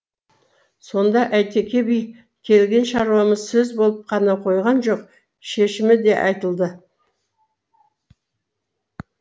сонда әйтеке би келген шаруамыз сөз болып қана қойған жоқ шешімі де айтылды